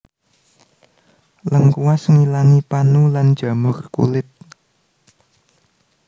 Lengkuas ngilangi panu lan jamur kulit